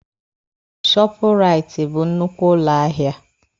Shọọpụraiti bụ nnukwu ụlọ ahịa.